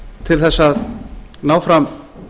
til þess að ná fram